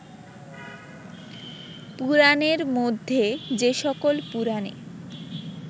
পুরাণের মধ্যে যে সকল পুরাণে